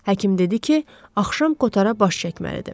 Həkim dedi ki, axşam Kotara baş çəkməlidir.